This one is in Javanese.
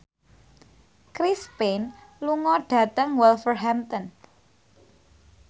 Chris Pane lunga dhateng Wolverhampton